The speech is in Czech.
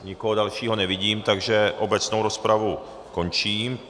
Nikoho dalšího nevidím, takže obecnou rozpravu končím.